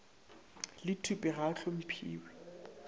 le thupe ga a hlomphiwe